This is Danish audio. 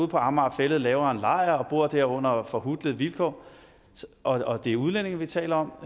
på amager fælled laver en lejr og bor der under forhutlende vilkår og det er udlændinge vi taler om